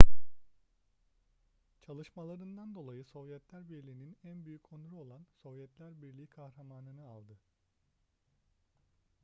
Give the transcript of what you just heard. çalışmalarından dolayı sovyetler birliği'nin en büyük onuru olan sovyetler birliği kahramanı nı aldı